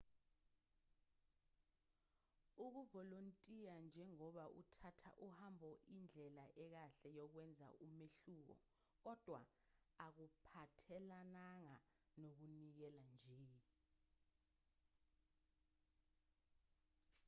ukuvolontiya njengoba uthatha uhambo indlela ekahle yokwenza umehluko kodwa akuphathelananga nokunikela nje